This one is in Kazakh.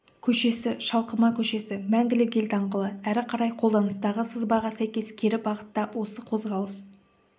көшесі шалқыма көшесі мәңгілік ел даңғылы әрі қарай қолданыстағы сызбаға сәйкес кері бағытта осы қозғалыс